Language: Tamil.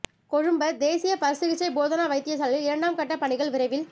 கொழும்ப தேசிய பற்சிகிச்சை போதனா வைத்தியசாலையில் இரண்டாம் கட்ட ப் பணிகள் விரைவில்